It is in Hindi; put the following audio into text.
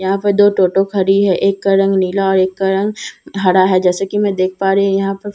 यहां पर दो टोटो खड़ी है एक का रंग नीला और एक का रंग हरा है जैसा कि मैं देख पा रही यहां पर--